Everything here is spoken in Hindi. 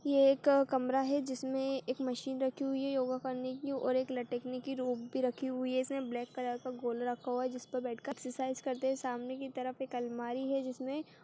ये एक कमरा हैं जिसमे एक मशीन रखी हुई हैं योगा करने की और एक लटकने की रोप भी रखी हुई हैं इसमे ब्लैक कलर का बॉल रखा हुआ हैं जिसपे बैठ कर एक्सरसाइज करते हैं सामने की तरफ एक अलमारी हैं जिसमे--